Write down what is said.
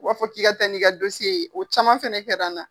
U b'a fɔ k'i ka tɛ n'i ka ye ,o caman fɛnɛ kɛra n na.